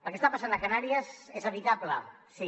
el que està passant a canàries és evitable sí